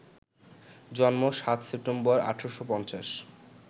জন্ম ৭ সেপ্টেম্বর, ১৮৫০